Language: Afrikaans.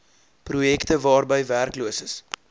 projekte waarby werkloses